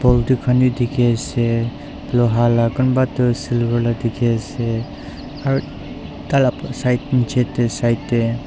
khan wi dikhi ase loha la kunba Tu silver la dikhi ase aro tai la side Nichetey side tey.